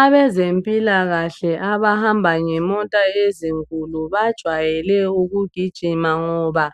Abezempilakahle abahamba ngemota ezinkulu bajwayele ukugijima ngoba